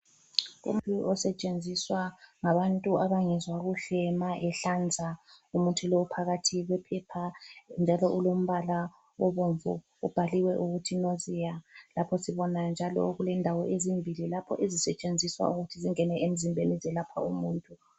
Umuthi osetshenziswa ngabantu abangezwa kuhle ma ehlanza umuthi lowu uphakathi kwephepha njalo ulombala obomvu ubhaliwe ukuthi nausea, lapho sibona njalo okulendawo ezimbili lapho ezisetshenziswa ukuthi singene emzimbeni ezelapha umuntu